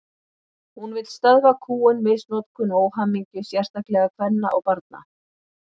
Hún vill stöðva kúgun, misnotkun og óhamingju, sérstaklega kvenna og barna.